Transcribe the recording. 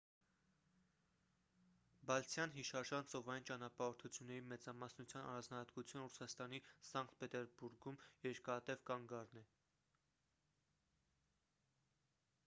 բալթյան հիշարժան ծովային ճանապարհորդությունների մեծամասնության առանձնահատկությունը ռուսաստանի սանկտ պետերբուրգում երկարատև կանգառն է